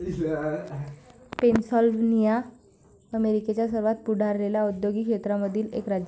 Pennsylvania अमेरिकेच्या सर्वात पुढारलेल्या औद्योगिक क्षेत्रामधील एक राज्य आहे.